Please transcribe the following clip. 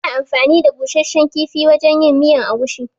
Ana anfani da busasshen kifi wajen yin miyar agushi.